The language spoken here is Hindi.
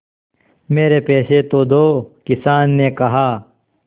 मेरे पैसे तो दो किसान ने कहा